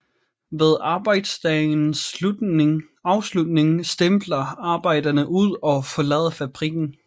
Ved arbejdsdagens afslutning stempler arbejderne ud og forlader fabrikken